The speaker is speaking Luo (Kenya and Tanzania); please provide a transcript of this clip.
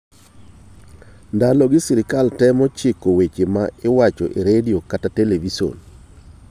Ndalogi, sirkal temo chiko weche ma iwacho e redio kata e televison.